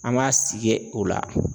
An b'a sigi o la.